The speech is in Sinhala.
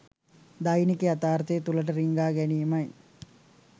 දෛනික යථාර්ථය තුළට රිංගා ගැනීමයි